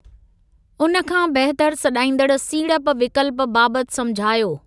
उन खां बहितर' सॾाइंदड़ सीड़प विकल्प बाबति समुझायो।